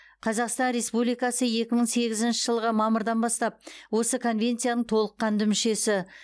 қазақстан республикасы екі мың сегізінші жылғы мамырдан бастап осы конвенцияның толыққанды мүшесі